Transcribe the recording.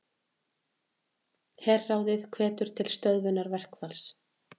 Herráðið hvetur til stöðvunar verkfalls